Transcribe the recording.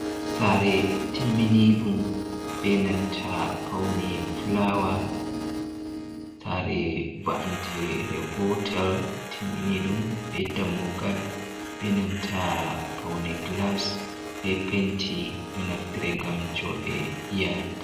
Sare timmini ɗum benanta paune fulawa, sare va’ante re gotel timmini ɗum, be dammugal be nanta paune glas be penti, ɗo naftire ngam jonde iyalu.